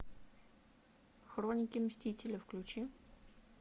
хроники мстителя включи